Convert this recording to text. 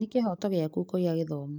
Nĩ kĩhoto gĩaku kũgĩa gĩthomo